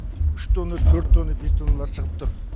үш тонна төрт тонна бес тонналар шығып тұр